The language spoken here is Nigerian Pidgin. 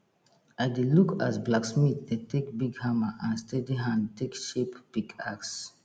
i dey look as blacksmith dey take big hammer and steady hand take shape pickaxe